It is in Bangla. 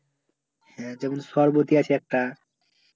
হ্যাঁ যেমন সরবতি আছে একটা